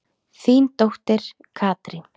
Þín dóttir Katrín.